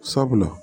Sabula